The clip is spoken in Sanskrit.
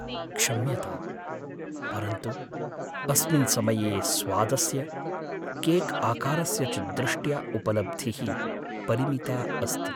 क्षम्यताम्, परन्तु अस्मिन् समये स्वादस्य, केक्आकारस्य च दृष्ट्या उपलब्धिः परिमिता अस्ति।